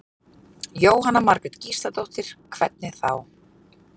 Jóhanna Margrét Gísladóttir: Hvernig þá?